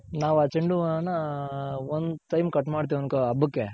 ನಾವ್ ಆ ಚೆoಡು ಹೂವ್ವ ನ one time cut ಮಾಡ್ತಿವ್ ಅನ್ಕೋ ಹಬ್ಬಕ್ಕೆ